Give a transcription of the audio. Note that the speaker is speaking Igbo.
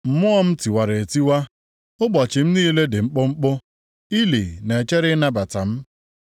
Mmụọ m tiwara etiwa, ụbọchị m niile dị mkpụmkpụ, ili na-echere ịnabata m.